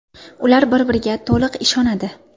Ular bir-biriga to‘liq ishonadi.